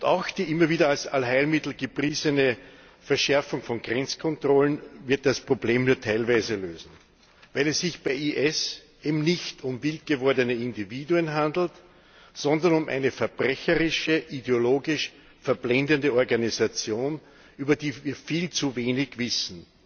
Auch die immer wieder als Allheilmittel gepriesene Verschärfung von Grenzkontrollen wird das Problem nur teilweise lösen, weil es sich bei IS eben nicht um wildgewordene Individuen handelt, sondern um eine verbrecherische, ideologisch verblendende Organisation, über die wir viel zu wenig wissen